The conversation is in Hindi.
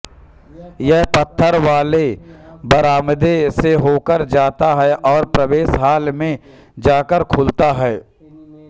यह पत्थर वाले बरामदे से होकर जाता है और प्रवेश हॉल में जाकर खुलता है